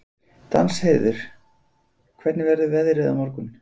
Danheiður, hvernig verður veðrið á morgun?